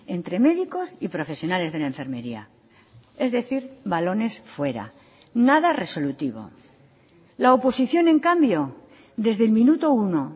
entre médicos y profesionales de la enfermería es decir balones fuera nada resolutivo la oposición en cambio desde el minuto uno